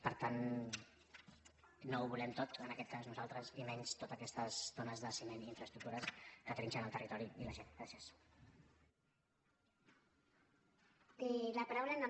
per tant no ho volem tot en aquest cas nosaltres i menys totes aquestes tones de ciment i infraestructures que trinxen el territori i la gent